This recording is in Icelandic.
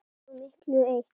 Svo miklu eru eytt.